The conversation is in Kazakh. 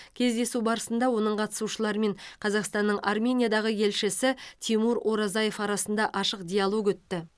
кездесу барысында оның қатысушылары мен қазақстанның армениядағы елшісі тимур оразаев арасында ашық диалог өтті